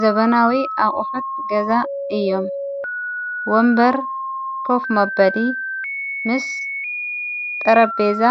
ዘበናዊ ኣቝሑት ገዛ እዮም ወንበር ከፍ መበዲ ምስ ጠረቤዛ